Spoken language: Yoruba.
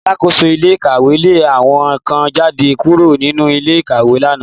Alákóso ilé ìkàwé lé àwọn kan jáde kúrò nínú ilé ìkàwé lánàá